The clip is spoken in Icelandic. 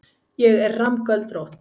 Ég er rammgöldrótt.